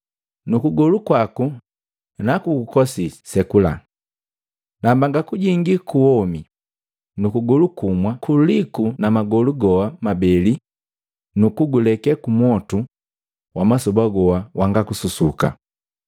Nu kugolu kwaku nakugukosisi sekula! Na mbanga kujingii kuwomi, nu kugolu kumwa kuliku na magolu goa mabeli nu kuguleke kumwotu wa masoba goa wanga kususuka.